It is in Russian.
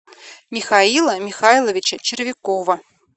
михаила михайловича червякова